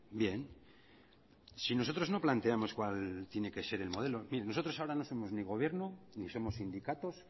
bien si nosotros no planteamos cuál tiene que ser el modelo nosotros ahora no somos ni gobierno ni somos sindicatos